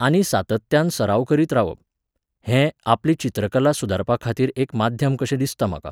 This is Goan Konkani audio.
आनी सातत्यान सराव करीत रावप. हें, आपली चित्रकला सुदारपाखातीर एक माध्यम कशें दिसता म्हाका.